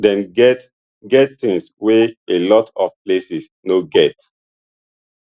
dem get get things wey a lot of places no get